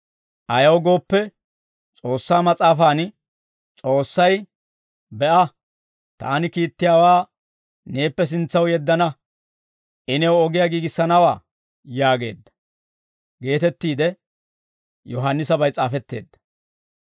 Ayaw gooppe, S'oossaa Mas'aafan, « ‹S'oossay, «Be'a, taani kiittiyaawaa neeppe sintsaw yeddana.» I new ogiyaa giigissanawaa› yaageedda geetettiide Yohaannisabay s'aafetteedda.»